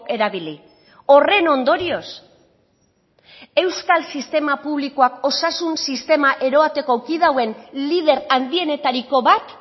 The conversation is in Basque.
erabili horren ondorioz euskal sistema publikoak osasun sistema eroateko kide hauen lider handienetariko bat